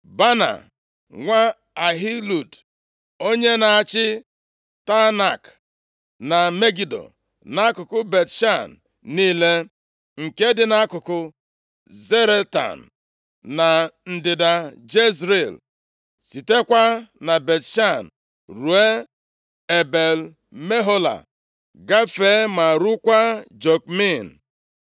Baana, nwa Ahilud, onye na-achị Teanak, na Megido nʼakụkụ Bet-Shan niile, nke dị nʼakụkụ Zaretan na ndịda Jezril, sitekwa na Bet-Shan ruo Ebel-Mehola gafee ma ruokwa Jokmeam.